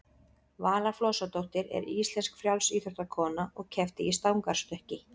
vala flosadóttir er íslensk frjálsíþróttakona og keppti í stangarstökki